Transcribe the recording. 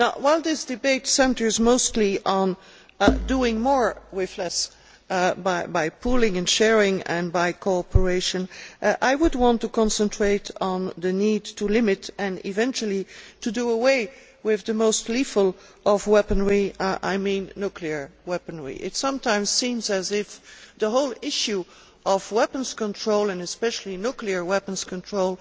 Now, while this debate centres mostly on doing more with less, by pooling and sharing and by cooperation, I would like to concentrate on the need to limit and eventually do away with the most lethal of all weaponry I mean nuclear weaponry. It sometimes seems as if the whole issue of weapons control, and especially nuclear weapons control,